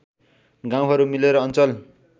गाउँहरू मिलेर अञ्चल